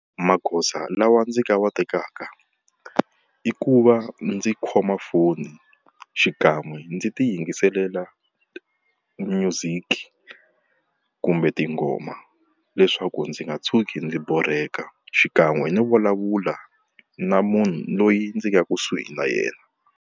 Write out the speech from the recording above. Magoza lawa ndzi nga wa tekaka, i ku va ndzi khoma foni xikan'we ndzi ti yingiselela music kumbe tingoma leswaku ndzi nga tshuki ndzi borheka xikan'we no vulavula na munhu loyi ndzi nga kusuhi na yena.